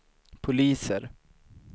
poliser